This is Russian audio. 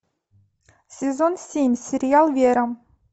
сезон семь сериал вера